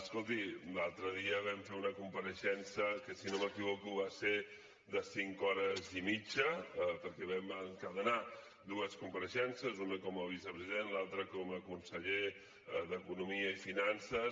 escolti l’altre dia vam fer una compareixença que si no m’equivoco va ser de cinc hores i mitja perquè vam encadenar dues compareixences una com a vicepresident l’altra com a conseller d’economia i finances